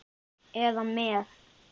eða með